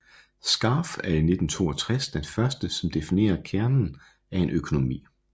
Scarf er i 1962 den første som definerer kernen af en økonomi